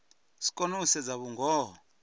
si kone u sedza vhungoho